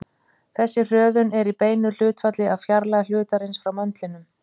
Þessi hröðun er í beinu hlutfalli við fjarlægð hlutarins frá möndlinum.